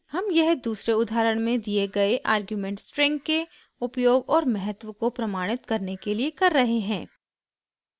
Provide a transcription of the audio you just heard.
हम यह दूसरे उदाहरण में दिए गए आर्ग्युमेंट string के उपयोग और महत्व को प्रमाणित करने के लिए कर रहे हैं